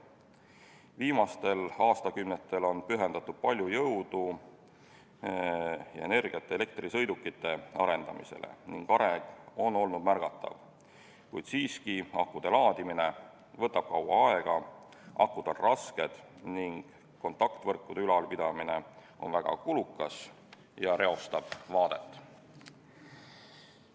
Viimastel aastakümnetel on pühendatud palju jõudu ja energiat elektrisõidukite arendamisele ning areng on olnud märgatav, kuid siiski võtab akude laadimine kaua aega, akud on rasked ning kontaktvõrkude ülalpidamine on väga kulukas ja reostab vaadet.